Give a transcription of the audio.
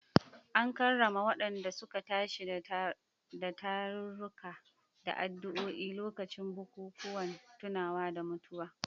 An karrama wadanda suka tashi da tarurruka da addu’o’i a lokacin bukukuwan tunawa da mutuwa.